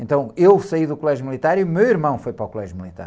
Então eu saí do colégio militar e o meu irmão foi para o colégio militar.